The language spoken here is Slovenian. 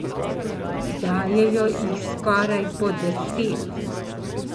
Dajejo jih skoraj po deset.